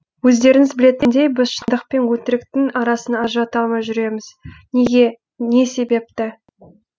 өздеріңіз білетіндей біз шыңдық пен өтіріктің арасын ажырата алмай жүреміз неге не себепті